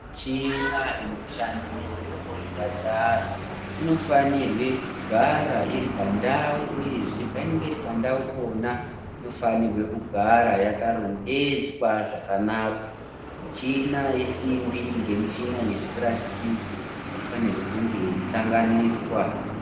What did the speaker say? Michina inoshandiswe kuzvipatara inofanirwe kugara iri pandau uyezve painenge iri pandau pona inofanirwe kugara yakarongedzwa zvakanaka. Michina yesimbi ngemichina yezvipurasitiki haifanirwi kunge yeisanganiswa.